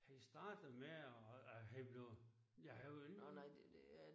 Han startede med at han blev ja han var ikke